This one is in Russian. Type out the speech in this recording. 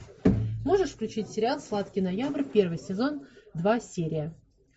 можешь включить сериал сладкий ноябрь первый сезон два серия